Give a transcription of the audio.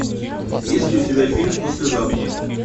есть ли у тебя фильм послезавтра